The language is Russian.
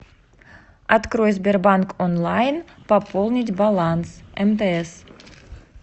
открой сбербанк онлайн пополнить баланс мтс